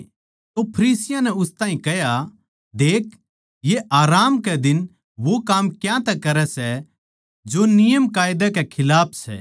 तो फरीसियाँ नै उस ताहीं कह्या देख ये आराम कै दिन वो काम क्यांतै करै सै जो नियमकायदा के खिलाफ सै